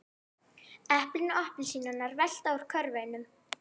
Eplin og appelsínurnar velta úr körfunum.